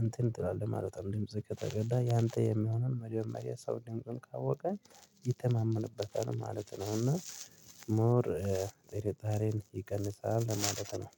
እንትን ትላለህ ማለት ነው። እንድ ግዜ ከተረዳህ ያንተ የሚሆነውን መጀመሪያ ሰው ካወቀ ይተማመንበታል ማለት ነው። እና ሞር ጥርጣሬን ይቀንሳል ማለት ነው።